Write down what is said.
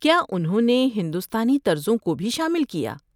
کیا انہوں نے ہندوستانی طرزوں کو بھی شامل کیا؟